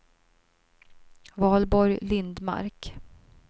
Valborg Lindmark